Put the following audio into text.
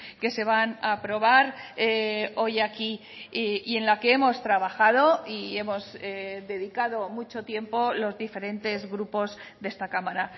que se van a aprobar hoy aquí y en la que hemos trabajado y hemos dedicado mucho tiempo los diferentes grupos de esta cámara